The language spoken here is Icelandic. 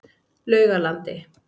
Laugalandi